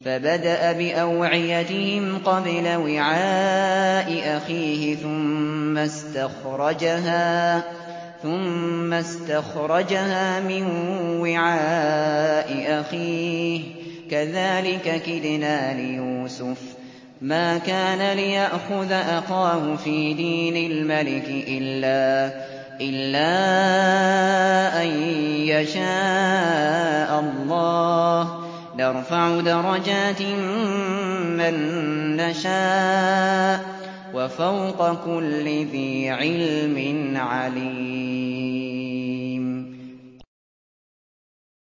فَبَدَأَ بِأَوْعِيَتِهِمْ قَبْلَ وِعَاءِ أَخِيهِ ثُمَّ اسْتَخْرَجَهَا مِن وِعَاءِ أَخِيهِ ۚ كَذَٰلِكَ كِدْنَا لِيُوسُفَ ۖ مَا كَانَ لِيَأْخُذَ أَخَاهُ فِي دِينِ الْمَلِكِ إِلَّا أَن يَشَاءَ اللَّهُ ۚ نَرْفَعُ دَرَجَاتٍ مَّن نَّشَاءُ ۗ وَفَوْقَ كُلِّ ذِي عِلْمٍ عَلِيمٌ